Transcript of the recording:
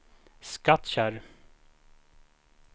Skattkärr